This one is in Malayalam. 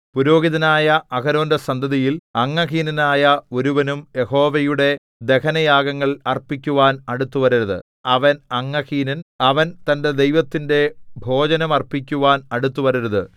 പുരോഹിതനായ അഹരോന്റെ സന്തതിയിൽ അംഗഹീനനായ ഒരുവനും യഹോവയുടെ ദഹനയാഗങ്ങൾ അർപ്പിക്കുവാൻ അടുത്തുവരരുത് അവൻ അംഗഹീനൻ അവൻ തന്റെ ദൈവത്തിന്റെ ഭോജനം അർപ്പിക്കുവാൻ അടുത്തുവരരുത്